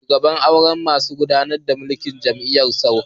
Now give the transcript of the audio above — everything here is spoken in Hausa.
Shugaban zauren masu gudanar da mulkin jami'a ya sauka